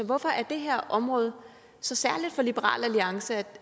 hvorfor er det her område så særligt for liberal alliance